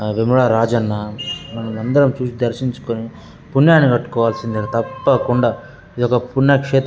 వేములవాడ రాజన్న మనందరం చూసి దర్శించుకొని పుణ్యాన్ని కట్టుకోవాల్సిందే. తప్పకుండ ఇదొక పుణ్యక్షే --